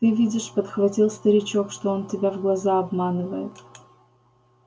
ты видишь подхватил старичок что он тебя в глаза обманывает